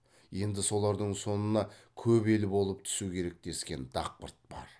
енді солардың сонына көп ел болып түсу керек дескен дақпырт бар